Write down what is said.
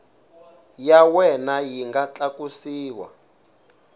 ya wena yi nga tlakusiwa